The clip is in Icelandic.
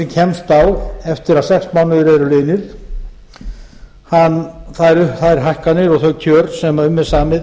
kemst á eftir að sex mánuðir eru liðnir fær þær hækkanir og þau kjör sem um er samið